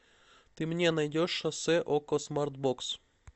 ты мне найдешь шоссе окко смарт бокс